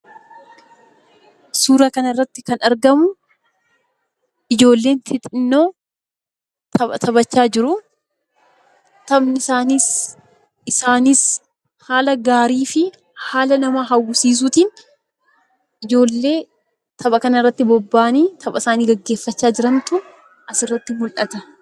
Suuraa kanaa gadii irratti kan argamu ijoollee xixiqqoo tapha taphachaa jiranii dha. Taphni isaaniis kan nama hawwatuu fi baayyee miidhagaa ta'ee dha.